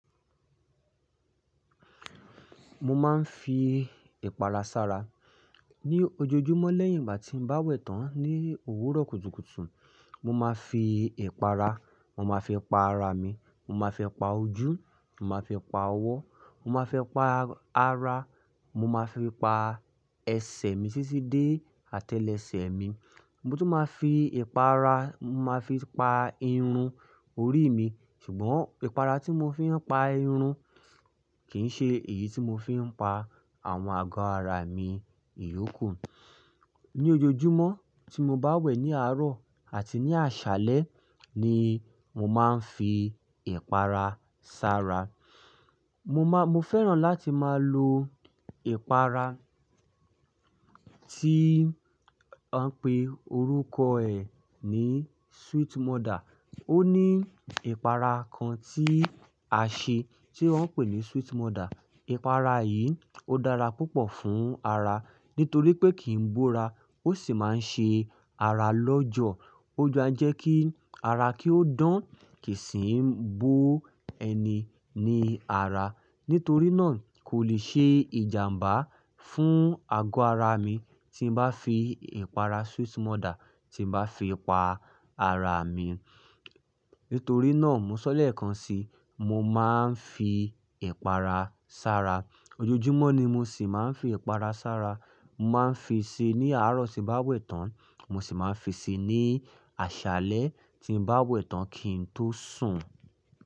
Mo máa ń fi ìpara sára ní ojoojúmọ́ lẹ́yìn ìgbà tí mo bá wẹ̀ tán ní òwúrọ̀ kùtùkùtù. Mo máa fi ìpara, mo máa fi pa ara mi, mo máa fi pa ojú, mo máa fi pa ọwọ́, mo máa fi pa ara, mo máa fi pa ẹsẹ̀ mi títí dé atẹ́lẹsẹ̀ mi. Mo tún máa fi ìpara, mo máa fi pa irun orí mi. Ṣùgbọ́n ìpara tí mo fi ń pa irun kì í ṣe èyí tí mo fi ń pa àwọn àgọ́ ara mi ìyókù. Ní ojoojúmọ́ tí mo bá wẹ̀ ní àárọ̀ àti ní àṣálẹ́ ni mo máa ń fi ìpara sára. Mo máa, mo fẹ́ràn láti máa lo ìpara tí wọ́n ń pè orúkọ ẹ ní Sweet Mother. Ó ní ìpara kan tí a ṣe tí wọ́n ń pè ní Sweet Mother. Ìpara yìí ó dára púpọ̀ fún ara nítorí pé kì í bó ara. Ó sì máa ń ṣe ara lọ́jọ̀. Ó má n jẹ́ kí ara kí ó dán kì í sì ń bó ẹni ní ara. Nítorí náà kò lè ṣe ìjàmbá fún àgọ́ ara mi tí n bá fi ìpara Sweet Mother tí mo bá fi pa ara mi. Nítorí náà mo sọ lẹ́ẹ̀kan sí i, mo máa ń fi ìpara sára. Ojoojúmọ́ ni mo sì máa ń fi ìpara sára. Mo máa ń fi si ní àárọ̀ tí bá wẹ̀ tán, mo sì máa ń fi ṣe ní àṣálẹ́ tí bá wẹ̀ tán kí n tó sùn.